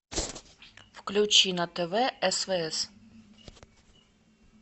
включи на тв свс